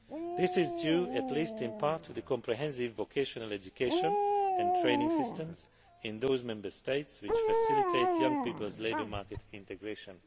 This is due, at least in part, to the comprehensive vocational education and training systems in those Member States, which facilitate young people's labour market integration.